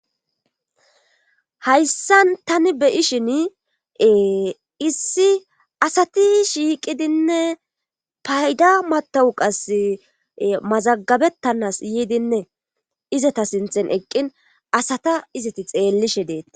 hayssan tani beyishin issi asati shiiqidinne payda matawu qas mazagabettanas yiidinne izata sinthen eqqin asata izati xeellishe deet